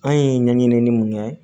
An ye ɲɛɲinin mun kɛ